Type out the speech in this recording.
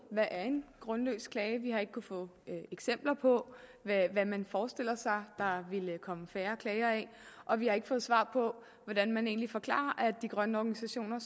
hvad en grundløs klage er vi har ikke kunnet få eksempler på hvad man forestiller sig der ville komme færre klager af og vi har ikke fået svar på hvordan man egentlig forklarer at de grønne organisationer